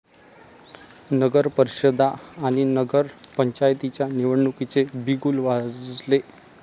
नगरपरिषदा आणि नगरपंचायतींच्या निवडणुकीचे बिगुल वाजले